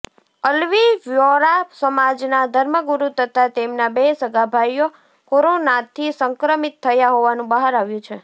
Alawi Vohra સમાજના ધર્મગૂરૂ તથા તેમના બે સગાભાઇઓ કોરોનાથી સંક્રમિત થયા હોવાનું બહાર આવ્યુ છે